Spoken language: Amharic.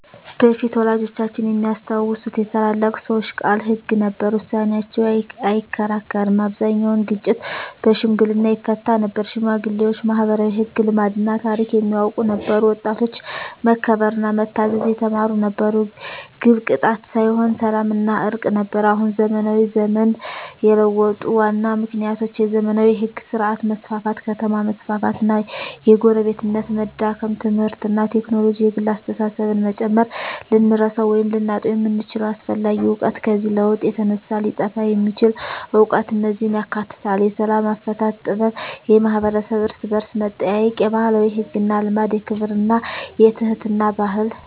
በፊት (ወላጆቻችን የሚያስታውሱት) የታላላቅ ሰዎች ቃል ሕግ ነበር፤ ውሳኔያቸው አይከራከርም አብዛኛውን ግጭት በሽምግልና ይፈታ ነበር ሽማግሌዎች ማኅበራዊ ሕግ፣ ልማድና ታሪክ የሚያውቁ ነበሩ ወጣቶች መከበርና መታዘዝ የተማሩ ነበሩ ግብ ቅጣት ሳይሆን ሰላምና እርቅ ነበር አሁን (ዘመናዊ ዘመን) የለውጡ ዋና ምክንያቶች የዘመናዊ ሕግ ሥርዓት መስፋፋት ከተማ መስፋፋት እና የጎረቤትነት መዳከም ትምህርትና ቴክኖሎጂ የግል አስተሳሰብን መጨመር ልንረሳው ወይም ልናጣው የምንችለው አስፈላጊ እውቀት ከዚህ ለውጥ የተነሳ ሊጠፋ የሚችል እውቀት እነዚህን ያካትታል፦ የሰላም አፈታት ጥበብ የማኅበረሰብ እርስ–በርስ መጠያየቅ የባህላዊ ሕግና ልማድ የክብርና የትሕትና ባህል